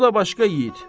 O da başqa yigit.